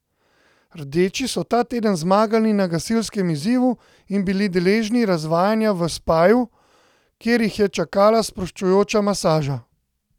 Rdeči so ta teden zmagali na gasilskem izzivu in bili deležni razvajanja v spaju, kjer jih je čakala sproščujoča masaža.